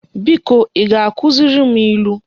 Biko I ga-akuziri m ilu